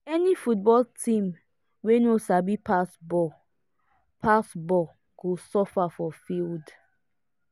any football team wey no sabi pass ball pass ball go suffer for field.